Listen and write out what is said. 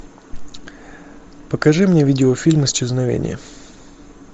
покажи мне видеофильм исчезновение